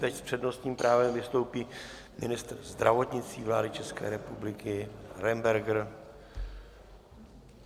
Teď s přednostním právem vystoupí ministr zdravotnictví vlády České republiky Arenberger.